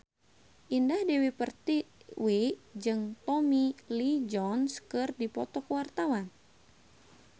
Indah Dewi Pertiwi jeung Tommy Lee Jones keur dipoto ku wartawan